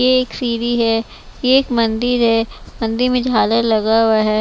यह एक सीढ़ी है यह एक मंदिर है मंदिर में झालर लगा हुआ है।